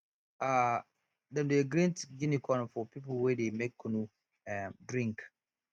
um dem dey grind guinea corn for people wey dey make kunu um drink